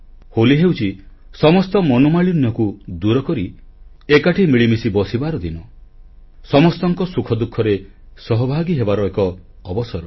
ହୋଲି ହେଉଛି ସମସ୍ତ ମନୋମାଳିନ୍ୟକୁ ଦୂରକରି ଏକାଠି ମିଳିମିଶି ବସିବାର ଦିନ ସମସ୍ତଙ୍କ ସୁଖ ଦୁଃଖରେ ସହଭାଗୀ ହେବାର ଏକ ଅବସର